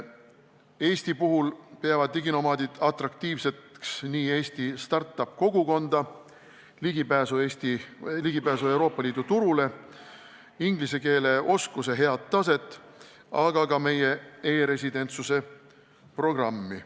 Eesti puhul peavad diginomaadid atraktiivseks nii siinset start-up-kogukonda, ligipääsu Euroopa Liidu turule, head inglise keele oskust, aga ka meie e-residentsuse programmi.